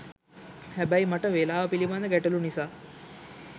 හැබැයි මට වෙලාව පිළිබද ගැටළු නිසා